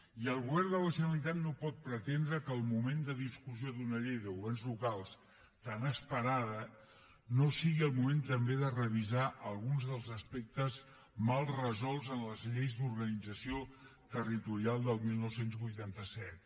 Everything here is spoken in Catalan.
i el govern de la generalitat no pot pretendre que el moment de discussió d’una llei de governs locals tan esperada no sigui el moment també de revisar alguns dels aspectes mal resolts en les lleis d’organització territorial del dinou vuitanta set